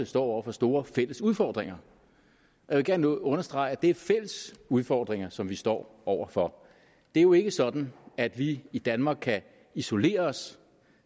står over for store fælles udfordringer jeg vil gerne understrege at det er fælles udfordringer som vi står over for det er jo ikke sådan at vi i danmark kan isolere os